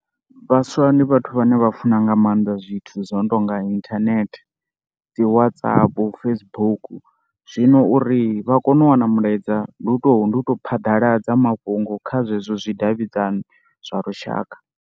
Vhaswa ndi vhathu vhane vha funa nga maanḓa zwithu zwo no tou nga inthanethe, dzi WhatsApp, Facebook. Zwino uri vha kone u wana mulaedza ndi u tou ndi u tou phaḓaladza mafhungo kha zwezwo zwidavhidzani zwa lushaka.